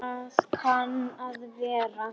Það kann að vera